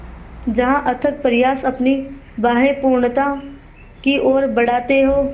जहाँ अथक प्रयास अपनी बाहें पूर्णता की ओर बढातें हो